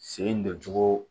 Sen don cogo